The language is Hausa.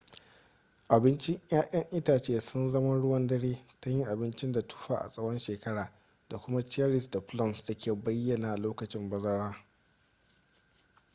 abincin 'ya'yan itace sun zama ruwan dare ta yin abinci da tufa a tsawon shekara da kuma cherries da plums da ke bayyana lokacin bazara